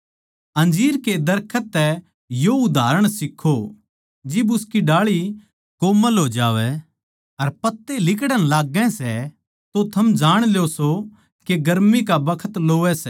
अंजीर के दरखत तै यो उदाहरण सीक्खो जिब उसकी डाळी कोमल हो जावै अर पत्ते लिकड़ण लागैं सै तो थम जाण ल्यो सो के गर्मी का बखत लोवै सै